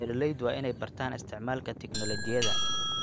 Beeraleydu waa inay bartaan isticmaalka tignoolajiyada.